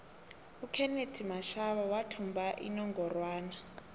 ukenethi mashaba wathumba inongorwana